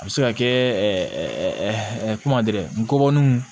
A bɛ se ka kɛ kuma gɛrɛ ngɔbɔninw